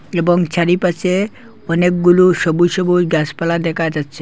এবং চারিপাশে অনেকগুলো সবুজ সবুজ গাছ পালা দেখা যাচ্ছে।